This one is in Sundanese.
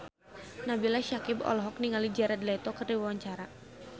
Nabila Syakieb olohok ningali Jared Leto keur diwawancara